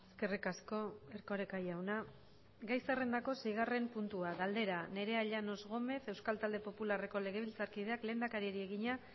eskerrik asko erkoreka jauna gai zerrendako seigarren puntua galdera nerea llanos gómez euskal talde popularreko legebiltzarkideak lehendakariari egina